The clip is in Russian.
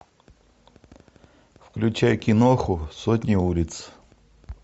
включай киноху сотня улиц